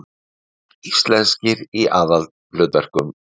Íslenskir í aðalhlutverkum